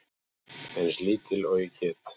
Eins lítil og ég get.